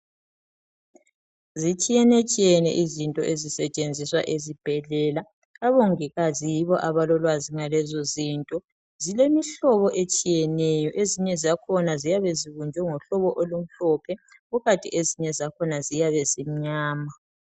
zitshiyenetshiyene izinto ezisetshenziswa ezibhedlela omongikazi yibo abalolwazi ngalezo zinto zilemihlobo etshiyeneyo ezinye zakhona ziyabe zibunjwe ngohlobo olumhlophe kukanti ezinye zakhona ziyabe zimnyama